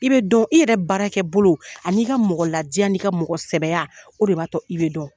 I bɛ dɔn. I yɛrɛ baarakɛ bolo ani n'i ka mɔgɔ ladiya n'i ka mɔgɔ sɛbɛya o de b'a to i bɛ dɔn.